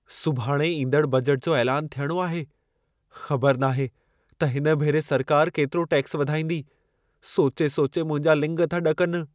सुभाणे ईंदड़ बजट जो ऐलान थियणो आहे। ख़बर नाहे त हिन भेरे सरकार केतिरो टैक्स वधाईंदी। सोचे-सोचे मुंहिंजा लिङ था ॾकनि।